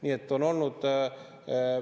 Nii et on olnud.